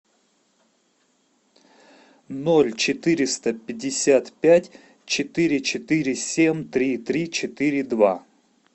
ноль четыреста пятьдесят пять четыре четыре семь три три четыре два